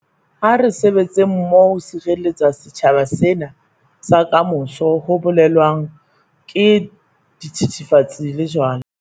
Ha re sebetseng mmoho ho sireletsa setjhaba sena sa kamoso ho bolaweng ke dithethefatsi le jwala.